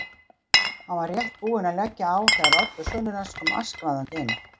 Hann var rétt búinn að leggja á þegar Oddur sonur hans kom askvaðandi inn.